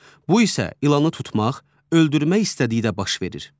Bu isə ilanı tutmaq, öldürmək istəyi də baş verir.